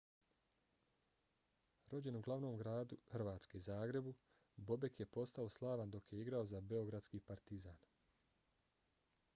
rođen u glavnom gradu hrvatske zagrebu bobek je postao slavan dok je igrao za beogradski partizan